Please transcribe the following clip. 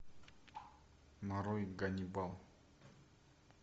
нарой ганнибал